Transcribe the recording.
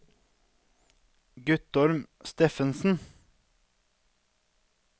Guttorm Steffensen